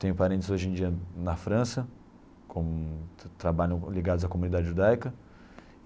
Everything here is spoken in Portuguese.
Tenho parentes, hoje em dia, na França, com trabalham ligados à comunidade judaica.